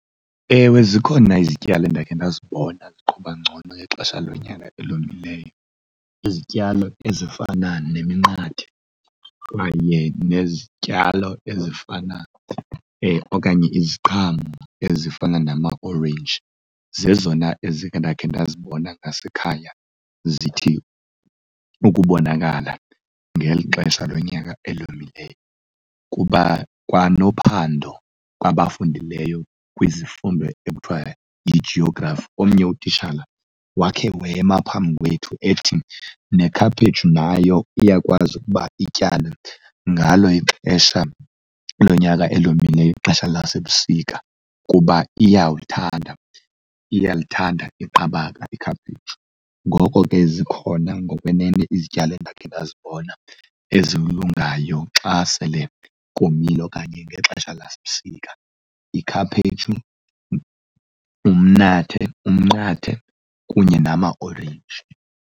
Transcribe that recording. Ewe, zikhona izityalo endakhe ndazibona ziqhuba ngcono ngexesha lonyaka elomileyo. Izityalo ezifana neminqathe kanye nezityalo ezifana okanye iziqhamo ezifana nama orenji zezona ezikhe ndakhe ndazibona nasekhaya zithi ukubonakala ngeli xesha lonyaka elomileyo. Kuba kwanophando kwabafundileyo kwizifundo ekuthiwa yiGeography, omnye utitshala wakhe wema phambi wethu ethi nekhaphetshu nayo iyakwazi ukuba ityalwe ngalo ixesha lonyaka elomileyo, ixesha lasebusika kuba iyawuthanda iyalithanda iqabaka ikhaphetshu. Ngoko ke zikhona ngokwenene izityalo endakhe ndazibona ezilungayo xa sele komile okanye ngexesha lasebusika, ikhaphetshu, umnqathe kunye namaorenji.